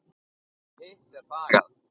Um hitt er þagað.